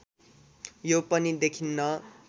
यो पनि देखिन्न